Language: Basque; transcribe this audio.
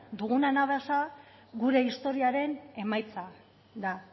dugun anabasa gure historiaren emaitza da